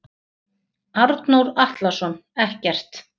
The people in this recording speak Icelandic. Arnór Atlason ekkert.